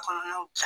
Kɔnɔnaw